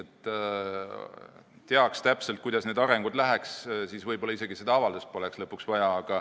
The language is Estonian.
Kui teaks täpselt, kuidas need arengud lähevad, siis võib-olla seda avaldust polekski vaja.